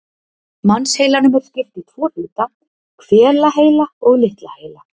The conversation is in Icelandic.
Mannsheilanum er skipt í tvo hluta, hvelaheila og litla heila.